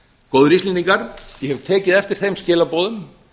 góðir íslendingar ég hef tekið eftir þeim skilaboðum